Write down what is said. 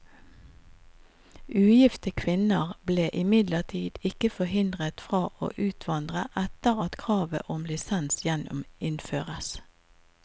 Ugifte kvinner ble imidlertid ikke forhindret fra å utvandre etter at kravet om lisens gjeninnføres.